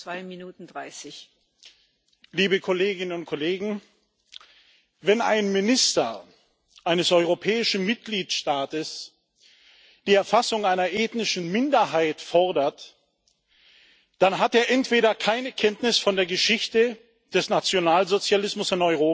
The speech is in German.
Frau Präsidentin, liebe Kolleginnen und Kollegen! Wenn ein Minister eines europäischen Mitgliedstaates die Erfassung einer ethnischen Minderheit fordert, dann hat er entweder keine Kenntnis von der Geschichte des Nationalsozialismus in Europa